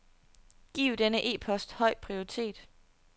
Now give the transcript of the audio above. Giv denne e-post høj prioritet.